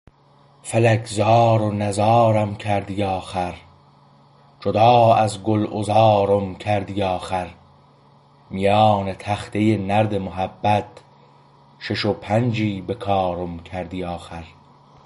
فلک زار و نزارم کردی آخر جدا از گلعذارم کردی آخر میان تخته نرد محبت شش و پنجی به کارم کردی آخر